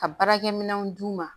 Ka baarakɛminɛnw d'u ma